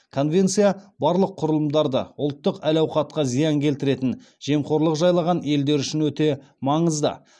конвенция барлық құрылымдары ұлттық әл ауқатқа зиян келтіретін жемқорлық жайлаған елдер үшін өте маңызды